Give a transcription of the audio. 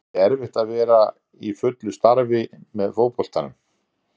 Er ekkert erfitt að vera í fullu starfi með fótboltanum?